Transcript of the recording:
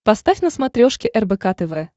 поставь на смотрешке рбк тв